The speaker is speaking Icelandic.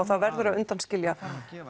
það verður að undanskilja